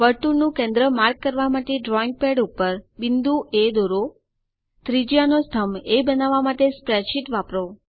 વર્તુળનું કેન્દ્ર માર્ક કરવા માટે ડ્રોઈંગ પેડ ઉપર બિંદુ એ દોરો ત્રિજ્યાનો સ્તંભ એ બનાવવા માટે સ્પ્રેડશીટ વાપરો